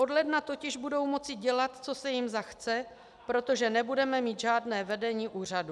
Od ledna totiž budou moci dělat, co se jim zachce, protože nebudeme mít žádné vedení úřadu.